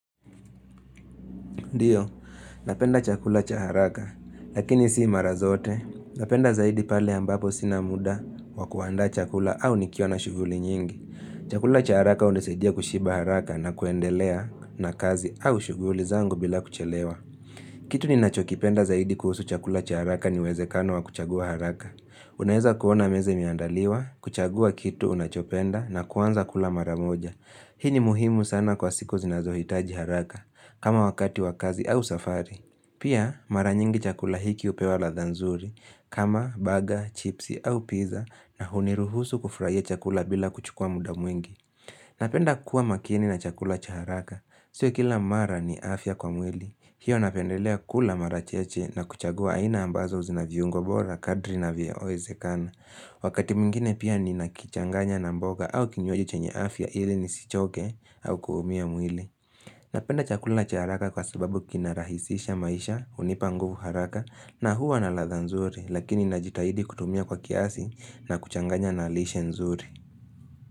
Ndio, napenda chakula cha haraka, lakini si mara zote. Napenda zaidi pale ambapo sina muda wakuandaa chakula au nikiwa na shughuli nyingi. Chakula cha haraka hunisaidia kushiba haraka na kuendelea na kazi au shughuli zangu bila kuchelewa. Kitu ni nachokipenda zaidi kuhusu chakula cha haraka ni uwezekano wa kuchagua haraka. Unaweza kuona meze imeandaliwa, kuchagua kitu unachopenda na kuanza kula maramoja. Hii ni muhimu sana kwa siku zinazohitaji haraka. Kama wakati wa kazi au safari Pia mara nyingi chakula hiki hupewa ladha nzuri kama baga, chipsi au pizza na huniruhusu kufurahia chakula bila kuchukula bila kuchukua muda mwingi Napenda kuwa makini na chakula cha haraka Sio kila mara ni afya kwa mwili hiyo napendelea kula mara chache na kuchagua aina ambazo zina viungo bora kadri na vyowezekana Wakati mwingine pia ninakichanganya na mboga au kinywaji chenye afya ili nisichoke au kuumia mwili Napenda chakula cha haraka kwa sababu kina rahisisha maisha hunipa nguvu haraka na huwa na ladha nzuri lakini najitahidi kutumia kwa kiasi na kuchanganya na lishe nzuri.